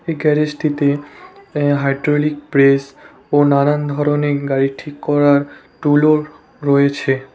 এই গ্যারেজটিতে a hydraulic press ও নানান ধরনের গাড়ি ঠিক করার টুলও রয়েছে।